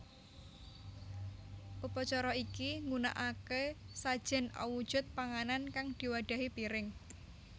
Upacara iki nggunakake sajen awujud panganan kang diwadhahi piring